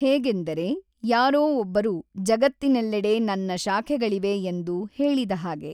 ಏಗೆಂದರೆ ಯಾರೋ ಒಬ್ಬರು ಜಗತ್ತಿನೆಲ್ಲೆಡೆ ನನ್ನ ಶಾಖೆಗಳಿವೆ ಎಂದು ಹೇಳಿದ ಹಾಗೆ.